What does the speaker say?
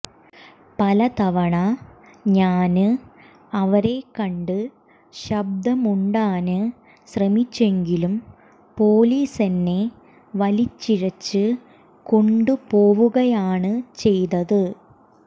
പല തവണ ഞാന് അവരെക്കണ്ട് ശബ്ദമുണ്ടാന് ശ്രമിച്ചെങ്കിലും പൊലീസെന്നെ വലിച്ചിഴച്ച് കൊണ്ടുപോവുകയാണ് ചെയ്തത്